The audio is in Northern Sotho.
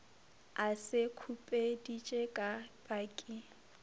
a se khupeditše ka paki